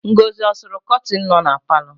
Ngọzị ọ sụrụ kọtịnụ nọ na palọ?